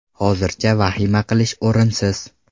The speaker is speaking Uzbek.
Hozircha vahima qilish o‘rinsiz.